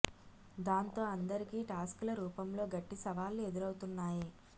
దాంతో అందరికీ టాస్క్ ల రూపంలో గట్టి సవాళ్లు ఎదురవుతున్నాయి